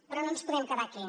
però no ens podem quedar aquí